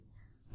धन्यवाद